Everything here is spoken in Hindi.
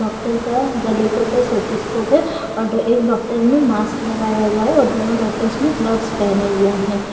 डॉक्टर का गले के ऊपर स्टेथीस्कोप है और एक डॉक्टर ने मास्क लगाया हुआ है और दोनों डॉक्टर ने ग्लव्स पहने हुए है।